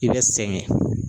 I bɛ sɛgɛn.